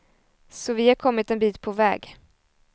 Så vi har kommit en bit på väg.